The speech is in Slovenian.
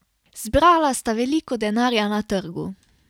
Zbrala sta veliko denarja na trgu.